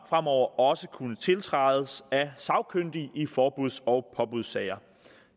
fremover også kunne tiltrædes af sagkyndige i forbuds og påbudssager